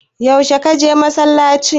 Yaushe ka je masallaci?